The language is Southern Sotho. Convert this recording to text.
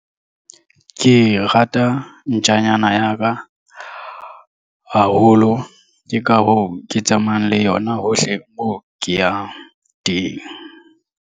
Ke rata ntjanyana ya ka haholo ke ka hoo ke tsamayang le yona hohle moo ke yang teng.